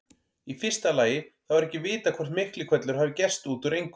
Í fyrsta lagi þá er ekki vitað hvort Miklihvellur hafi gerst út úr engu.